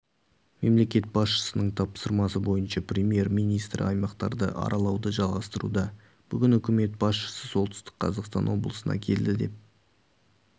мемлекет басшысының тапсырмасы бойынша премьер-министрі аймақтарды аралауды жалғастыруда бүгін үкіметі басшысы солтүстік қазақстан облысына келді деп